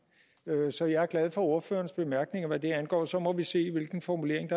så jeg er glad for ordførerens bemærkninger hvad det angår og så må vi se hvilken formulering